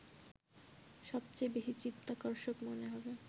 সবচেয়ে বেশি চিত্তাকর্ষক মনে হবে